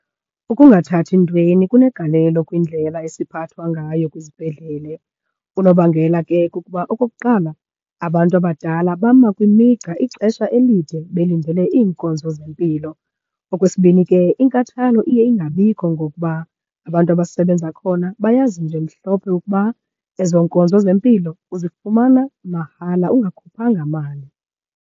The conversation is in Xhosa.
Ukungathathi ntweni kunegalelo kwindlela esiphathwa ngayo kwizibhedlele. Unobangela ke kukuba okokuqala, abantu abadala bama kwimigca ixesha elide belindele iinkonzo zempilo. Okwesibini ke, inkathalo iye ingabikho ngokuba abantu abasebenza khona bayazi nje mhlophe ukuba ezo nkonzo zempilo uzifumana mahala ungakhuphanga mali.